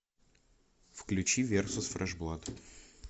включи версус фреш блад